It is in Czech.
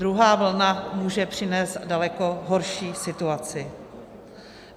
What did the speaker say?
Druhá vlna může přinést daleko horší situaci.